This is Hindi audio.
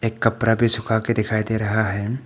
एक कपड़ा भी सुखाके दिखाई दे रहा है।